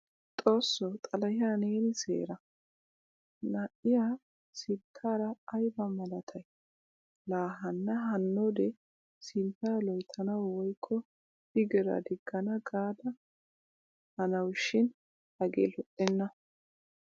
Xoossoo xalahiyaa neeni seera! Na'iyaa sinttar ayba malatay? La hana hanode sintta loyttanawu woykko biggiraa digana gaada hanawushin hagee lo'eena.